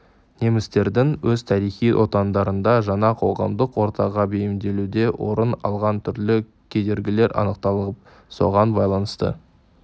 немістердің өз тарихи отандарында жаңа қоғамдық ортаға бейімделуде орын алған түрлі кедергілері анықталып соған байланысты